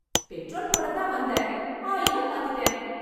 Petrol போடத்தான் வந்தேன். ஆயிலும் மாத்தீட்டேன்!